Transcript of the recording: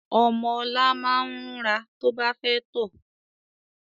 Ọmọ ọ̀la máa ń rúnra to bá fẹ́ tọ̀